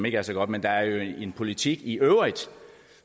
ikke er så gode men der er jo en politik i øvrigt